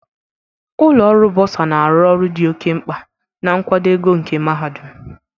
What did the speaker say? Ụlọ ọrụ buosa na-arụ ọrụ dị oke mkpa na nkwado ego nke mahadum.